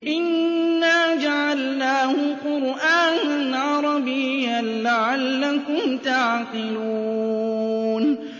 إِنَّا جَعَلْنَاهُ قُرْآنًا عَرَبِيًّا لَّعَلَّكُمْ تَعْقِلُونَ